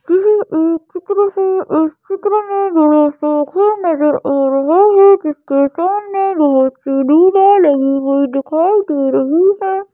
यह एक चित्र है इस चित्र नज़र आ रहे हैं जिसके सामने लगी हुई दिखाई दे रही है।